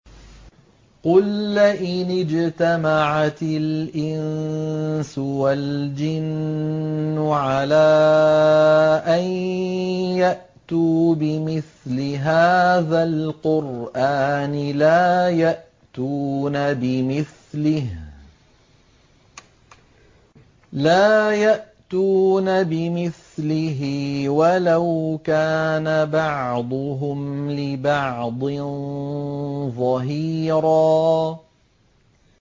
قُل لَّئِنِ اجْتَمَعَتِ الْإِنسُ وَالْجِنُّ عَلَىٰ أَن يَأْتُوا بِمِثْلِ هَٰذَا الْقُرْآنِ لَا يَأْتُونَ بِمِثْلِهِ وَلَوْ كَانَ بَعْضُهُمْ لِبَعْضٍ ظَهِيرًا